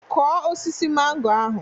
Kụọ osisi mango ahụ.